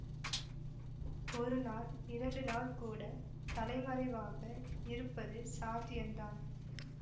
ஒரு நாள் இரண்டு நாள் கூட தலைமறைவாக இருப்பது சாத்தியந்தான்